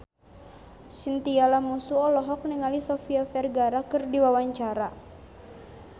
Chintya Lamusu olohok ningali Sofia Vergara keur diwawancara